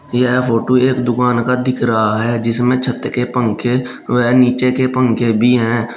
यह फोटो एक दुकान का दिख रहा है जिसमें छत के पंखे वह नीचे के पंखे भी हैं।